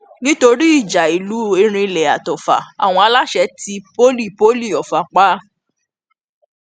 nítorí ìjà ìlú erinle àti ọfà àwọn aláṣẹ tí poli poli ọfà pa